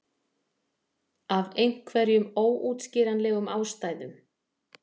Af einhverjum óútskýranlegum ástæðum.